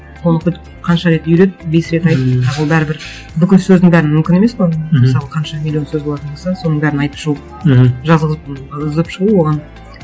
оны хоть қанша рет үйрет бес рет айт а ол бәрібір бүкіл сөздің бәрін мүмкін емес қой мысалы қанша миллион сөз болатын болса соның бәрін айтып шығу мхм жазғызып шығу оған